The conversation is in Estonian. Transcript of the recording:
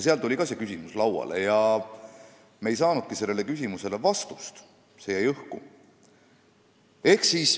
Seal tuli ka see küsimus lauale ja me ei saanudki sellele vastust, see küsimus jäi õhku.